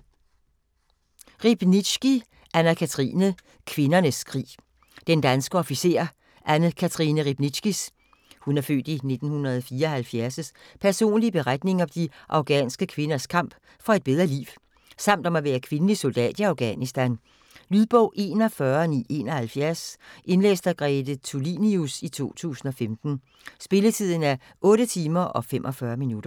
Riebnitzsky, Anne-Cathrine: Kvindernes krig Den danske officer Anne-Cathrine Riebnitzskys (f. 1974) personlige beretning om de afghanske kvinders kamp for et bedre liv samt om at være kvindelig soldat i Afghanistan. Lydbog 41971 Indlæst af Grete Tulinius, 2015. Spilletid: 8 timer, 45 minutter.